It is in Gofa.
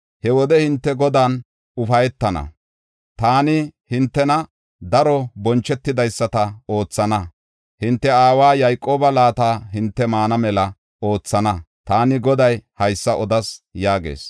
he wode hinte Godan ufaytana; taani hintena daro bonchetidaysata oothana; hinte aawa Yayqooba laata hinte maana mela oothana. Taani Goday haysa odas” yaagees.